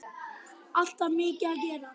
Alltaf mikið að gera.